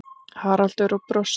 Haraldur og brosti.